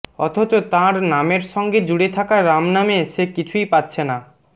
অথচ তাঁর নামের সঙ্গে জুড়ে থাকা রাম নামে সে কিছুই পাচ্ছে না